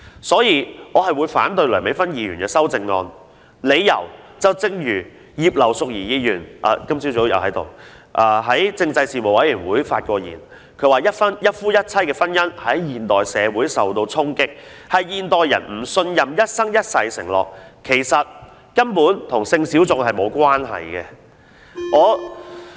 所以，我會反對梁美芬議員的修正案，理由一如今早在席的葉劉淑儀議員在政制事務委員會會議上發言時所指出，一夫一妻的婚姻在現代社會受衝擊，是由於現代人不信任一生一世的承諾，根本與性小眾無關。